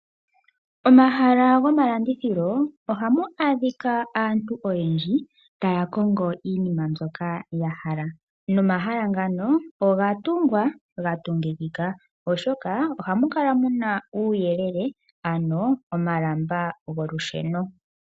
Omahala gomalandithilo, ohamu adhika aantu oyendji taya kongo iinima mbyoka ya hala. Nomahala ngano oga tungwa ga tungikika, oshoka ohamu kala muna uuyelele ano omalamba golusheno.